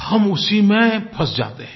हम उसी में फँस जाते हैं